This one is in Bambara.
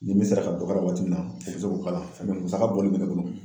Ni min sera ka dɔ k'a la waati min na u bɛ se k'o k'a la musaka bɔli bɛ ne bolo